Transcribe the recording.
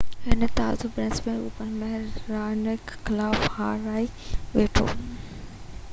هي تازو Brisbane open ۾ Raonic خلاف هارائي ويٺو